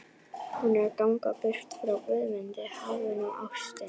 Hún er að ganga burt frá Guðmundi, hafinu og ástinni.